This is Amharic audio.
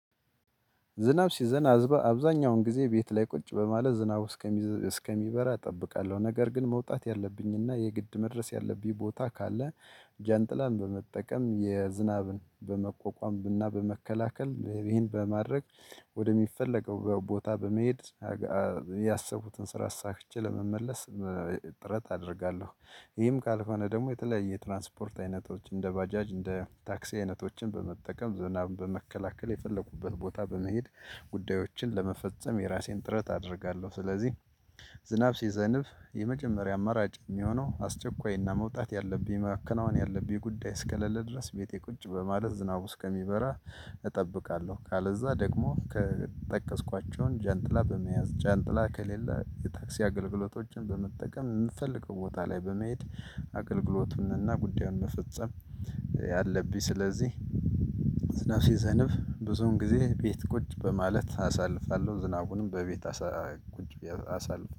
ዝናብ ሲዘን አብዛኛውን ጊዜ ቤት ላይ ቁጭ በማለት ዝናብ እስከሚበራ እጠብቃለሁ ነገር ግን መውጣት ያለብኝና የግድ መድረስ ያለብኝ ቦታ ካለ ጀንጥላን በመጠቀም የዝናብን በመቋቋም ብና በመከላከል ይሄን በማድረግ ወደሚፈለገው ቦታ በመሄድ ያሰብኩትን ስራ አሳክቼ ለመመለስ ጥረት አደርጋለሁ። ይህም ካልሆነ ደግሞ የተለያየ ትራንስፖርት አይነቶች እንደ ባጃጅ እንደ ታክሲ አይነቶችን በመጠቀም ዝናብን በመከላከል የፈለኩበት ቦታ በመሄድ ጉዳዮችን ለመፈጸም የራሴን ጥረት አደርጋለሁ። ስለዚህ ዝናብ ሲዘንብ የመጀመሪያ አማራጭ የሚሆነው አስቸኳይና መውጣት ያለብኝ መከናወን ያለብኝ ጉዳይ እስከለለ ድረስ ቤቴ ቁጭ በማለት ዝናቡ እስከሚበራ እጠብቃለሁ። ካለዛ ደግሞ ከጠቀስኳቸውን ጃንጥላ በመያዝ ጃንትላ ከሌለ የታክሲ አገልግሎቶችን በመጠቀም የምፈልገው ቦታ ላይ በመየት አገልግሎቱንና ጉዳዩን መፈጸም ያለብኝ። ስለዚህ ዝናብ ሲዘንብ ብዙን ጊዜ ቤት ቁጭ በማለት አሳልፋለሁ ዝናቡንም በቤት አሳልፋለሁ